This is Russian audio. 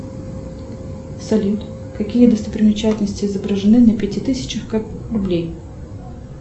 салют какие достопримечательности изображены на пяти тысячах рублей